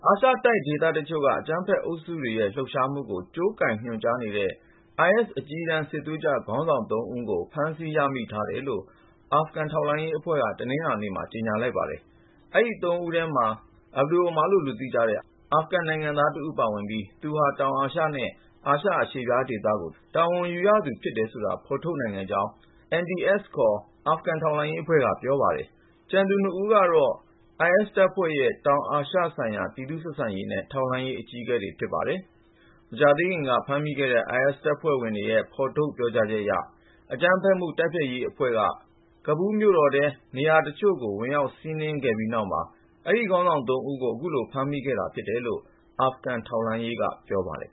ာရှတိုက် ဒေသတချို့က အကြမ်းဖက်အုပ်စုတွေရဲ့ လှုပ်ရှားမှုကို ညွှန်ကြားခိုင်းစေနေတဲ့ IS အကြီးတန်း စစ်သွေးကြွခေါင်းဆောင် (၃)ဦးကို ဖမ်းဆီး ရမိထားတယ်လို့ အာဖဂန် ထောက်လှမ်းရေးဌာနက တနင်္လာနေ့မှာ ကြေညာလိုက်ပါတယ်။ အဲဒီ (၃)ဦးထဲမှာ Abu Omar Khorasani လို့ သိကြတဲ့ အာဖဂန်နိုင်ငံသားတဦး ပါဝင်ပြီး သူဟာ တောင်အာရှနဲ့ အာရှအရှေ့ဖျားဒေသကို တာဝန်ယူရသူ ဖြစ်တယ်ဆိုတာ ဖေါ်ထုတ် နိုင်ခဲ့ကြောင်း NDS ခေါ် အာဖဂန် အမျိုးသား ထောက်လှမ်းရေး အဖွဲ့က ပြောပါတယ်။ ကျန်သူ ၂ ဦးကတော့ IS တပ်ဖွဲ့ရဲ့ တောင်အာရှဆိုင်ရာ ပြည်သူ့ဆက်ဆံရေးနဲ့ ထောက်လှမ်းရေး အကြီးအကဲတွေ ဖြစ်ပါတယ်။ မကြာသေးခင်က ဖမ်းမိခဲ့တဲ့ IS တပ်ဖွဲ့ဝင်တွေရဲ့ ထုတ်ဖေါ် ပြောကြားချက်အရ အကြမ်းဖက်မှု တိုက်ဖျက်ရေးအဖွဲ့က Kabul မြို့တော်ထဲက နေရာတချို့ကို ဝင်ရောက် စီးနင်းခဲ့ပြီးနောက်မှာ ဒီခေါင်းဆောင် ၃ ဦးကို အခုလို ဖမ်းမိခဲ့တာလို့ အာဖဂန်ထောက်လှမ်းရေးက ပြောပါတယ်